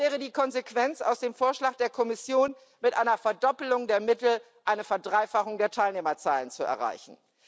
Das wäre die Konsequenz aus dem Vorschlag der Kommission, mit einer Verdoppelung der Mittel eine Verdreifachung der Teilnehmerzahlen zu erreichen.